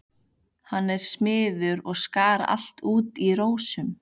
Hann var smiður og skar allt út í rósum.